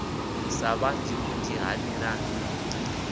sa ṱhanzi vhunzhi ha milandu